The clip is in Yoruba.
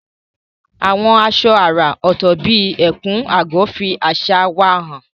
Àwọn aṣọ àrà ọ̀tọ̀ bíi ẹ̀kú/agọ́ fi àṣà wa hàn.